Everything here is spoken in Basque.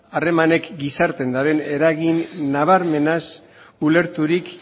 harremanek gizartean duten eragin nabarmenaz ulerturik